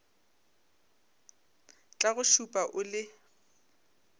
tla go šupa o le